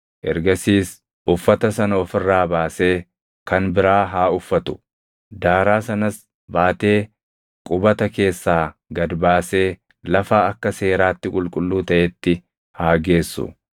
Ergasiis uffata sana of irraa baasee kan biraa haa uffatu; daaraa sanas baatee qubata keessaa gad baasee lafa akka seeraatti qulqulluu taʼetti haa geessu.